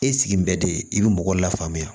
E sigi bɛ d i bi mɔgɔw la faamuya